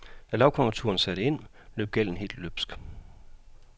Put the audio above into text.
Da lavkonjunkturen så satte ind, løb gælden helt løbsk.